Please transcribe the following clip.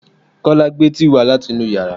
Kọ́lá gbé tíì wá láti inú yàrá